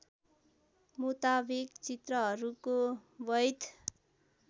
मुताबिक चित्रहरूको बैध